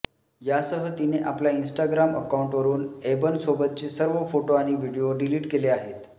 यासह तिने आपल्या इन्स्टाग्राम अकाउंटवरून एबनसोबतचे सर्व फोटो आणि व्हिडिओ डिलीट केले आहेत